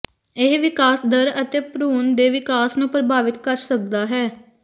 ਇਹ ਵਿਕਾਸ ਦਰ ਅਤੇ ਭਰੂਣ ਦੇ ਵਿਕਾਸ ਨੂੰ ਪ੍ਰਭਾਵਿਤ ਕਰ ਸਕਦਾ ਹੈ